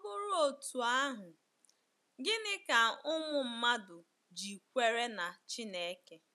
Ma ọ bụrụ otú ahụ, ginị ka ụmụ mmadụ ji kwere na Chineke?